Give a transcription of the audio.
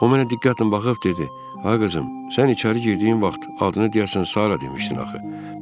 O mənə diqqətlə baxıb dedi: Ay qızım, sən içəri girdiyin vaxt adını deyəsən Sara demişdin axı.